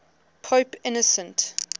pope innocent